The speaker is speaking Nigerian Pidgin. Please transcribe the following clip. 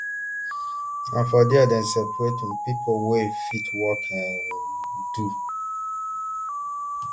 na for dia dem separate um pipo wey fit work and um dos